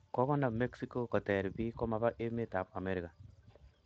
Kogonam mexico koter pik komapa emet ap America